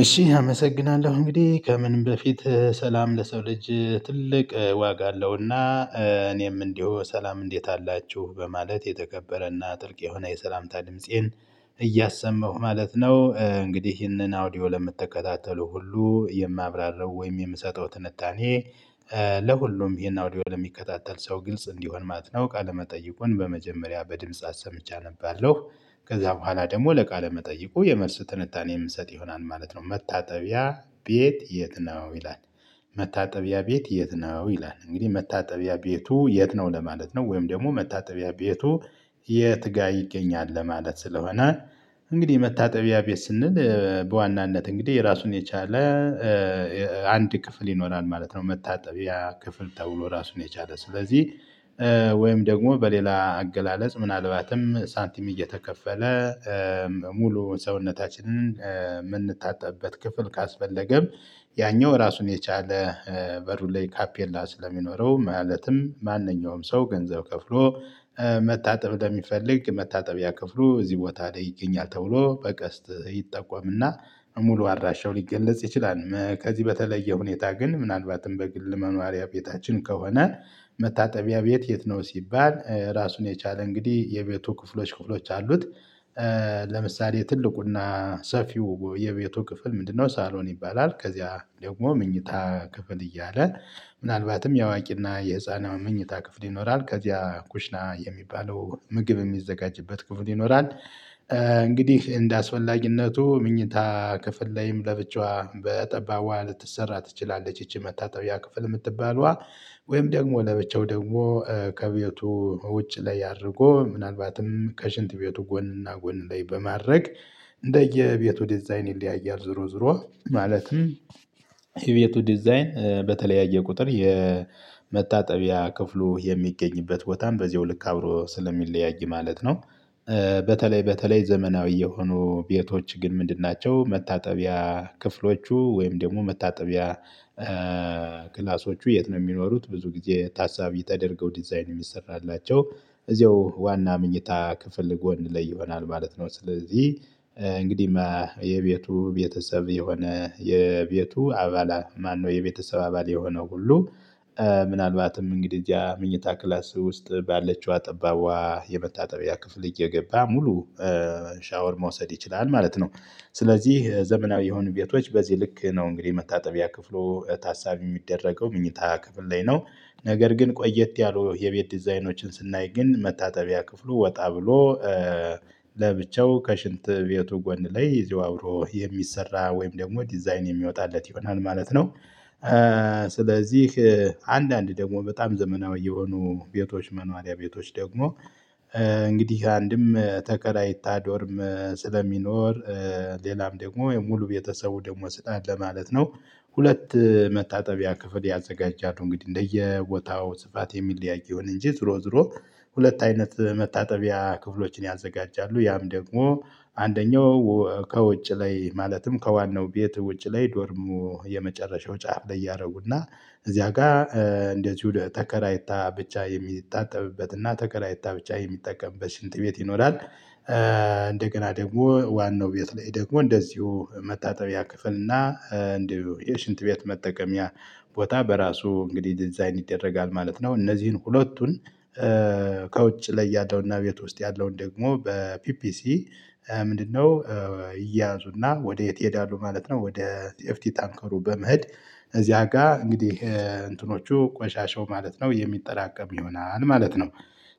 እሺ አመሰግናለሁ እንግዲህ ከምንም በፊት ሰላም ለሰው ልጅ ትልቅ ዋጋ አለውና እኔም እንደው ሰላም እንዴት አላችሁ በማለት የተከበረና ጥልቅ የሆነ የሰላምታ ድምፄን እያሰመሁ ማለት ነው። እንግዲህ ይህንን አውዲዮ ለምትከታተሉ ሁሉ የማብራራው ወይም የምሰጠው ትንታኔ። ለሁሉም ይሄን አውዲዮ ለሚከታተል ሰው ግልጽ እንዲሆን ማለት ነው። ቃለመጠይቁን በመጀመሪያ በድምጽ አሰምቼ አነባለው ከዛ በኋላ ደግሞ ለቃለ መጠይቁ የመልስ ትንታኔ የምሰጥ ይሆናል ማለት ነው። መታጠቢያ ቤት የት ነው ይላል? መታጠቢያ ቤት የት ነው ይላል? እንግዲህ መታጠቢያ ቤቱ የት ነው ለማለት ነው። ወይም ደግሞ መታጠቢያ ቤቱ የት ጋር ይገኛል ለማለት ስለሆነ። እንግዲህ መታጠቢያ ቤት ስንል በዋናነት እንግዲህ የራሱን የቻለ አንድ ክፍል ይኖራል ማለት ነው። መታጠቢያ ክፍል ተብሎ ራሱን የቻለ ስለዚህ። ወይም ደግሞ በሌላ አገላለጽ ምናልባትም ሳንቲም እየተከፈለ ሙሉ ሰውነታችንን የምንታጠብበት ክፍል ካስፈለገም። ያኛው ራሱን የቻለ በሩ ላይ ካፔላ ስለሚኖረው ማለትም ማንኛውም ሰው ገንዘብ ከፍሎ። መታጠብ ለሚፈልግ መታጠቢያ ከፍሎ እዚህ ቦታ ላይ ይገኛል ተብሎ በቀስት ይጠቆምና ሙሉ አድራሻውን ሊገለጽ ይችላል። ከዚህ በተለየ ሁኔታ ግን ምናልባትም በግል መኖሪያ ቤታችን ከሆነ። መታጠቢያ ቤት የት ነው ሲባል ራሱን የቻለ እንግዲህ የቤቱ ክፍሎች ክፍሎች አሉት። ለምሳሌ ትልቁና ሰፊው የቤቱ ክፍል ምንድነው? ሳሎን ይባላል። ከዚያ ደግሞ መኝታ ክፍል እያለ ምናልባትም የአዋቂና የህፃኗ መኝታ ክፍል ይኖራል ከዚያ ኩሽና የሚባለው ምግብ የሚዘጋጅበት ክፍል ይኖራል። እንግዲህ እንደ እንደአስፈላጊነቱ መኝታ ክፍል ላይም ለብቻዋ በጠባቧ ልትሰራ ትችላለች ይቺ መታጠቢያ ክፍል የምትባለዋ። ወይም ደግሞ ለብቻው ደግሞ ከቤቱ ውጭ ላይ አድርጎ ምናልባትም ከሽንት ቤቱ ጎንና ጎን ላይ በማድረግ። እንደየቤቱ ዲዛይን ይለያያል ዙሮ ዙሮ ማለት ማለትም። የቤቱ ዲዛይን በተለያየ ቁጥር የመታጠቢያ ክፍሉ የሚገኝበት ቦታም በዚያው ልክ አብሮ ስለሚለያይ ማለት ነው። በተለይ በተለይ ዘመናዊ የሆኑ ቤቶች ግን ምንድን ናቸው? መታጠቢያ ክፍሎቹ ወይም ደግሞ መታጠቢያ ክላሶቹ የት ነው የሚኖሩት? ብዙ ጊዜ ታሳቢ ተደርገው ዲዛይን የሚሰራላቸው እዚያው ዋና ምኞታ ክፍል ጎን ላይ ይሆናል ማለት ነው። ስለዚህ እንግዲህ የቤቱ ቤተሰብ የሆነ የቤቱ አባላ ማነው የቤተሰብ አባል የሆነው ሁሉ። ምናልባትም እንግዲህ እዚያ መኝታ ክላስ ውስጥ ባለችዋ ጠባብዋ የመታጠቢያ ክፍል እየገባ ሙሉ ሻወር መውሰድ ይችላል ማለት ነው። ስለዚህ ዘመናዊ የሆኑ ቤቶች በዚህ ልክ ነው እንግዲህ መታጠቢያ ክፍሉ ታሳቢ የሚደረገው መኝታ ክፍል ላይ ነው። ነገር ግን ቆየት ያሉ የቤት ዲዛይኖችን ስናይ ግን መታጠቢያ ክፍሉ ወጣ ብሎ። ለብቻው ከሽንት ቤቱ ጎን ላይ ይዞ አብሮ የሚሰራ ወይም ደግሞ ዲዛይን የሚወጣለት ይሆናል ማለት ነው። ስለዚህ አንዳንድ ደግሞ በጣም ዘመናዊ የሆኑ ቤቶች መኖሪያ ቤቶች ደግሞ እንግዲህ አንድም ተከራይታ ዶርም ስለሚኖር። ሌላም ደግሞ ሙሉ ቤተሰቡ ደግሞ ስህተት ለማለት ነው። ሁለት መታጠቢያ ክፍል ያዘጋጃሉ እንግዲህ እንደየቦታው ስፋት የሚለያይ ይሆን እንጂ ዝሮ ዝሮ። ሁለት አይነት መታጠቢያ ክፍሎችን ያዘጋጃሉ ያም ደግሞ። አንደኛው ከውጭ ላይ ማለትም ከዋናው ቤት ውጭ ላይ ዶርሙ የመጨረሻው ጫፍ ላይ ያደረጉና እዚያ ጋር እንደዚሁ ተከራይታ ብቻ የሚታጠጥብበት እና ተከራይታ ብቻ የሚጠቀምበት ሽንት ቤት ይኖራል። እንደገና ደግሞ ዋናው ቤት ላይ ደግሞ እንደዚሁ መታጠቢያ ክፍል እና እንደው የሽንት ቤት መጠቀምያ ቦታ በራሱ እንግዲህ ዲዛይን ይደረጋል ማለት ነው። እነዚህን ሁለቱን ከውጭ ላይ ያለውና ቤት ውስጥ ያለውን ደግሞ በፒፒሲ ምንድነው? ይያዙና ወዴት ይሄዳሉ ማለት ነው። ወደ ሴፍቲ ታንከሩ በመሄድ። እዚያ ጋር እንግዲህ እንትኖቹ ቆሻሻው ማለት ነው የሚጠራቀም ይሆናል ማለት ነው።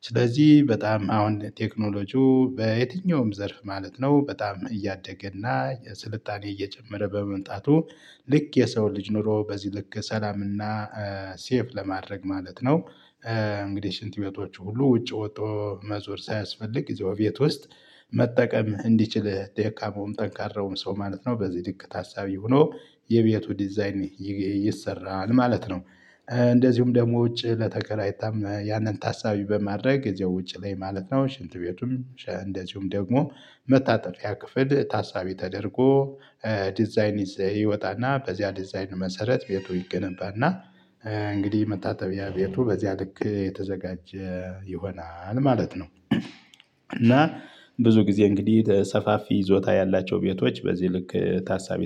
ስለዚህ በጣም አሁን ቴክኖሎጂው በየትኛውም ዘርፍ ማለት ነው በጣም እያደገ እና የስልጣኔ እየጨመረ በመምጣቱ። ልክ የሰው ልጅ ኖሮ በዚህ ልክ ሰላምና ሴፍ ለማድረግ ማለት ነው። እንግዲህ ሽንት ቤቶቹ ሁሉ ውጪ ወጥቶ መዞር ሳያስፈልግ እዛው ቤት ውስጥ። መጠቀም እንዲችል ደካማውም ጠንካራውም ሰው ማለት ነው በዚህ ልክ ታሳቢ ሆኖ የቤቱ ዲዛይን ይሰራል ማለት ነው። እንደዚሁም ደግሞ ውጪ ለተከራይታም ያንን ታሳቢ በማድረግ እዚያው ውጭ ላይ ማለት ነው ሽንት ቤቱም እንደዚሁም ደግሞ መታጠፊያ ክፍል ታሳቢ ተደርጎ። ዲዛይን ይዘ ይወጣና በዚያ ዲዛይን መሰረት ቤቱ ይገነባና። እንግዲህ መታተቢያ ቤቱ በዚያ ልክ የተዘጋጀ ይሆናል ማለት ነው። ብዙ ጊዜ እንግዲህ ሰፋፊ ይዞታ ያላቸው ቤቶች በዚህ ልክ ታሳቢ